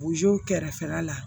kɛrɛfɛla la